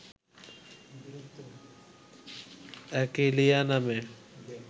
achillea নামে